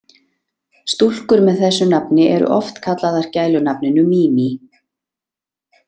Stúlkur með þessu nafni eru oft kallaðar gælunafninu Mimi.